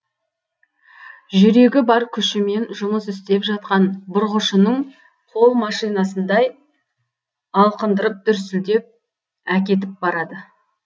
жүрегі бар күшімен жұмыс істеп жатқан бұрғышының қол машинасындай алқындырып дүрсілдеп әкетіп барады